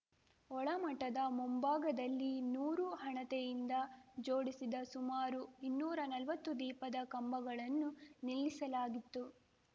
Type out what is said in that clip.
ಒಳಮಠದ ಮುಂಭಾದಲ್ಲಿ ನೂರು ಹಣತೆಯಿಂದ ಜೋಡಿಸಿದ್ದ ಸುಮಾರು ಇನ್ನೂರಾ ನಲ್ವತ್ತು ದೀಪದ ಕಂಬಗಳನ್ನು ನಿಲ್ಲಿಸಲಾಗಿತ್ತು